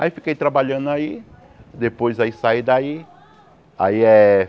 Aí fiquei trabalhando aí, depois aí saí daí. Aí eh